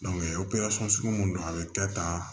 operasɔn sugu mun don a be kɛ tan